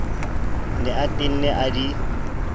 ne a tenne a di